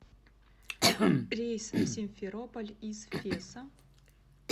рейс в симферополь из феса